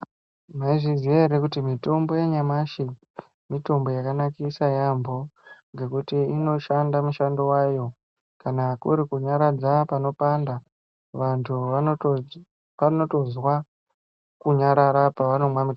Maizviziya ere kuti mitombo yanyamashi mitombo yakanakisa yaambo. Ngekuti inoshanda mushando vayo kana kurikunyaradza panopanda vantu vanotozwa kunyarara pavanomwa mutombo.